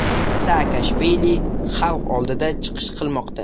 Saakashvili xalq oldida chiqish qilmoqda.